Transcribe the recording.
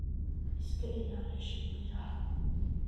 iska ilaali shimbiraha.